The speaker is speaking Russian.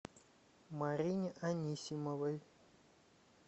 марине анисимовой